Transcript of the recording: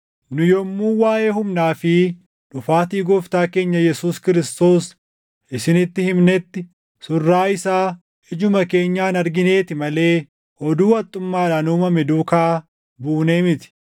Nu yommuu waaʼee humnaa fi dhufaatii Gooftaa keenya Yesuus Kiristoos isinitti himnetti, surraa isaa ijuma keenyaan argineeti malee oduu haxxummaadhaan uumame duukaa buunee miti.